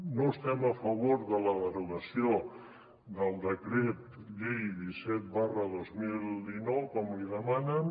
no estem a favor de la derogació del decret llei disset dos mil dinou com li demanen